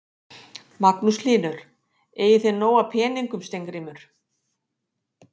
Magnús Hlynur: Eigið þið nóg af peningum Steingrímur?